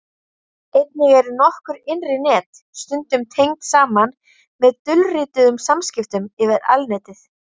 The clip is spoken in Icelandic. Einnig eru nokkur innri net stundum tengd saman með dulrituðum samskiptum yfir Alnetið.